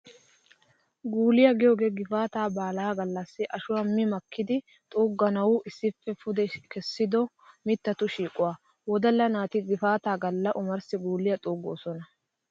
Guuliyaa giyogee gifaataa baalaa gallassi ashuwaa mi makkidinne xuugganawu issippe pude essido mittatu shiiquwaa. Wodalla naati gifaataa galla omarssi guuliyaa xuuggoosona.